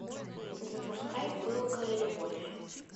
запускай пылкая любовь